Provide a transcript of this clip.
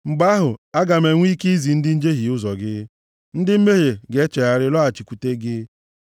Mgbe ahụ, aga m enwe ike izi ndị njehie ụzọ gị, ndị mmehie ga-echegharị lọghachikwute gị.